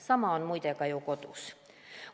Sama on muide ka ju kodus.